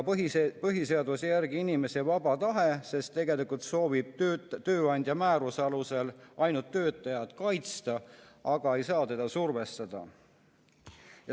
Põhiseaduse järgi on inimesel vaba tahe, sest tegelikult soovib tööandja määruse alusel töötajat ainult kaitsta, aga ei saa teda survestada.